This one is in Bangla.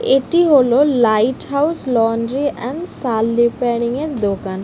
এটি হলো light house laundry and shawl repairing -এর দোকান।